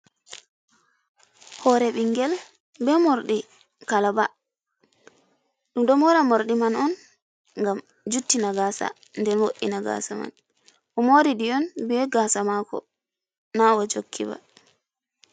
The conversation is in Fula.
Hore ɓingel be morɗi kalaba. Ɗum ɗon mora morɗi man on ngam juttina gaasa, nden wo'ina gaasa man. O mori ɗi on be gaasa maako, na o jokki ba.